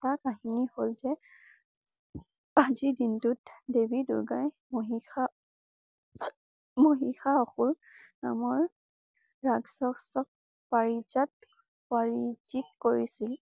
আন এটা কাহিনী হল যে আজিৰ দিনটোত দেৱী দুৰ্গায়ে মহিসামহিসা অসুৰ নামৰ ৰাক্ষকক পাৰিজাত পাৰিজিত কৰিছিল।